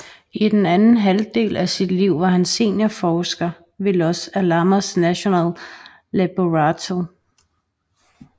I den anden halvdel af sit liv var han seniorforsker ved Los Alamos National Laboratory